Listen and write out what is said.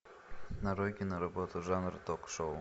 нарой киноработу жанра ток шоу